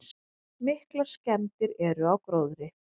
Miklar skemmdir eru á gróðri.